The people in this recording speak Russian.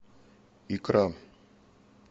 икра